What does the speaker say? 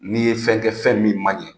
N'i ye fɛn kɛ fɛn min man ɲɛ,